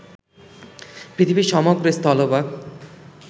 পৃথিবীর সমগ্র স্থলভাগ